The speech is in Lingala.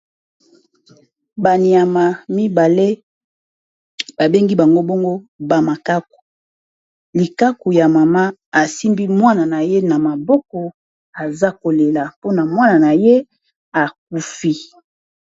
Banyama mibale babengi bango bongo bamakaku likaku ya mama asimbi mwana na ye na maboko aza kolela mpona mwana na ye akufi.